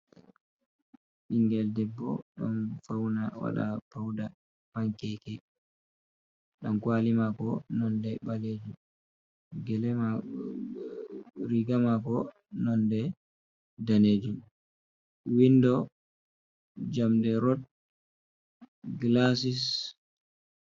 Bigel ɗebbo, ɗon fauna waɗa pauɗa, pankeke. Ɗan kawali mako nonɗe balejum. gele mako riga mako nonɗe ɗanejum. Winɗo, jamɗe, rot, gilasis.